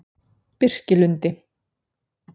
Birkilundi